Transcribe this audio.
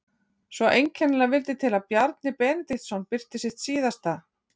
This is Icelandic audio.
Svo einkennilega vildi til að Bjarni Benediktsson birti sitt síðasta